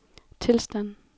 tilstand